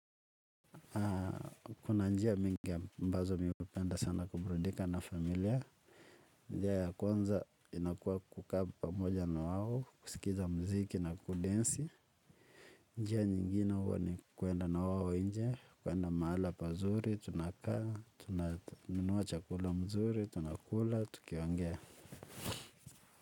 Kuna njia mingi ambazo ningependa sana kuburudika na familia. Njia ya kwanza inakuwa kukaa pamoja na wao kusikiza mziki na kudensi. Njia nyingine huwa ni kuenda na wao nje kuenda mahala pazuri, tunakaa, tunanunua chakula mzuri, tunakula, tuki ongea.